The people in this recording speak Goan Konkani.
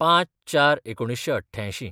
०५/०४/१९८८